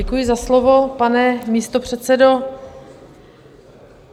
Děkuji za slovo, pane místopředsedo.